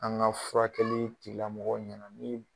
An ka furakɛli tigila mɔgɔw ɲininka